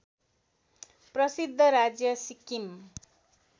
प्रसिद्ध राज्य सिक्किम